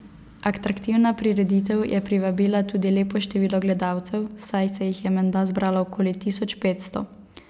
Atraktivna prireditev je privabila tudi lepo število gledalcev, saj se jih je menda zbralo okoli tisoč petsto.